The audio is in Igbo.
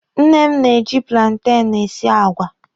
Nne m na-eji plantenụ esi àgwà.